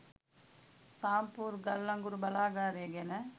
සාම්පූර් ගල්අඟුරු බලාගාරය ගැන